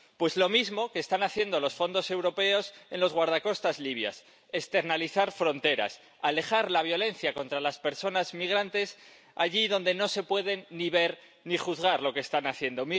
Pues lo mismo que están haciendo los fondos europeos en los guardacostas libios externalizar fronteras, alejar la violencia contra las personas migrantes allí donde no se puede ni ver ni juzgar lo que están haciendo.